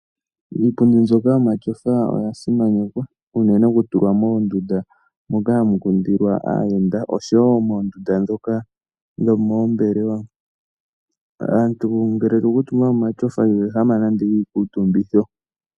Iipundi mbyoka yomashofa oya simanekwa uunene oku tulwa moondunda moka hamu kundilwa aayenda osho wo moondunda dhoka dho moombelewa. Omuntu ngele owa kuutumba koma shofa iho ehama nande iikutumbitho.